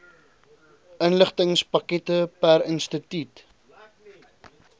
inligtingspakkette per instituut